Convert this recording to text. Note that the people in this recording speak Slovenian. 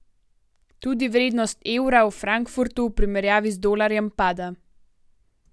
Tudi vrednost evra v Frankfurtu v primerjavi z dolarjem pada.